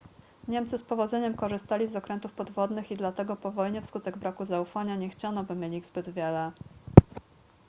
niemcy z powodzeniem korzystali z okrętów podwodnych i dlatego po wojnie wskutek braku zaufania nie chciano by mieli ich zbyt wiele